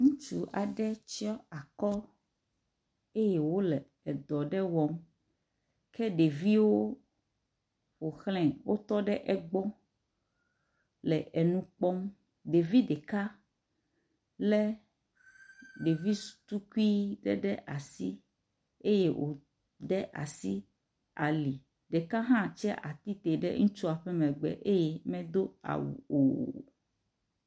Ŋutsu aɖe tsiɔ akɔ eye wole edɔ aɖe wɔm, ke ɖeviewo ƒoxlae, wotɔ ɖe egbɔ, le enu kpɔm ɖevi ɖeka le ɖevi tukui ɖe asi eye wode asi ali eye ɖeka hã tsi atsitre ɖe ŋutsua megbe eye medo awu o.